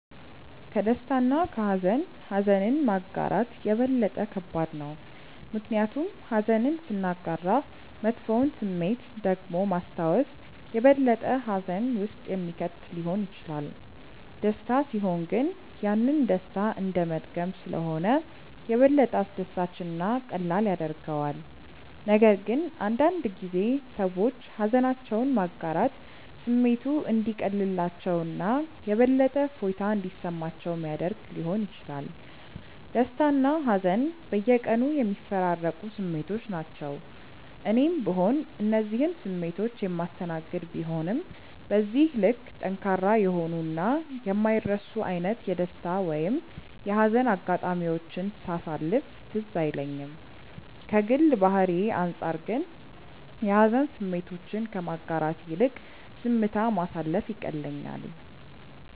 ከደስታ እና ከሃዘን ኀዘንን ማጋራት የበለጠ ከባድ ነው። ምክንያቱም ኀዘንን ስናጋራ መጥፎውን ስሜት ደግሞ ማስታወስ የበለጠ ሀዘን ውስጥ የሚከት ሊሆን ይችላል። ደስታ ሲሆን ግን ያንን ደስታ እንደመድገም ስለሆነ የበለጠ አስደሳች እና ቀላል ያደርገዋል፤ ነገር ግን አንዳንድ ጊዜ ሰዎች ሃዘናቸውን ማጋራት ስሜቱ እንዲቀልላቸው እና የበለጠ እፎይታ እንዲሰማቸው ሚያደረግ ሊሆን ይችላል። ደስታና ሀዘን በየቀኑ የሚፈራረቁ ስሜቶች ናቸው። እኔም ብሆን እነዚህን ስሜቶች የማስተናገድ ቢሆንም በዚህ ልክ ጠንካራ የሆኑ እና የማይረሱ አይነት የደስታ ወይም የሀዘን አጋጣሚዎችን ሳሳለፍ ትዝ አይለኝም። ከግል ባህሪዬ አንጻር ግን የሀዘን ስሜቶችን ከማጋራት ይልቅ ዝምታ ማሳለፍ ይቀለኛል።